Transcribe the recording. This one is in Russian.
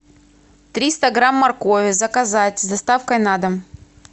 триста грамм моркови заказать с доставкой на дом